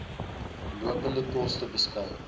lopende koste beskou